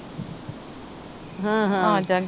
ਹਾਂ ਹਾਂ